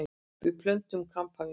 Við pöntuðum kampavín.